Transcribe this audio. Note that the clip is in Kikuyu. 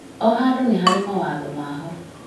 O handũ nĩ harĩ mawatho maho